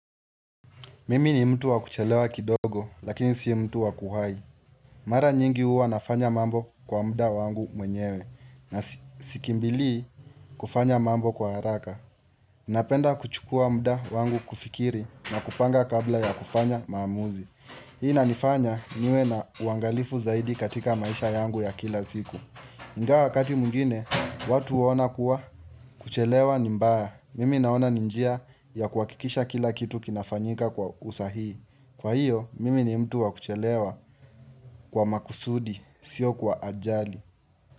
Mimi ni mtu wa kuchelewa kidogo lakini si mtu wa kuhai. Mara nyingi uwa nafanya mambo kwa muda wangu mwenyewe na sikimbili kufanya mambo kwa haraka. Napenda kuchukua muda wangu kufikiri na kupanga kabla ya kufanya maamuzi. Hii na nifanya niwe na uangalifu zaidi katika maisha yangu ya kila ziku. Ingawa wakati mwingine watu waona kuwa kuchelewa nimbaya. Mimi naona ninjia ya kuakikisha kila kitu kinafanyika kwa usahii. Kwa hiyo, mimi ni mtu wakuchelewa kwa makusudi, sio kwa ajali.